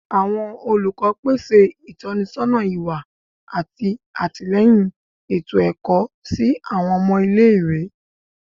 Awọn olukọ pese itọnisọna iwa ati atilẹyin eto-ẹkọ si awọn ọmọ ile-iwe